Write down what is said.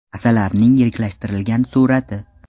Asalarining yiriklashtirilgan surati.